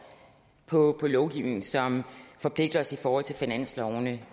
på lovgivning som forpligter os i forhold til finanslovene